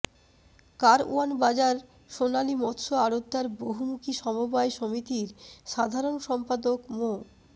কারওয়ান বাজার সোনালী মৎস্য আড়তদার বহুমুখী সমবায় সমিতির সাধারণ সম্পাদক মো